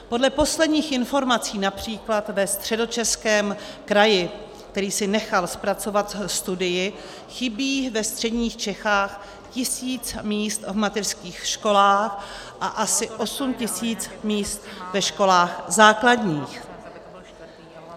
Podle posledních informací například ve Středočeském kraji, který si nechal zpracovat studii, chybí ve středních Čechách tisíc míst v mateřských školách a asi 8 tisíc míst ve školách základních.